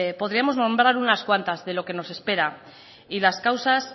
podríamos nombrar unas cuantas de lo que nos espera y las causas